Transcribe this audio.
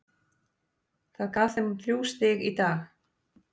Það gaf þeim þrjú stig í dag.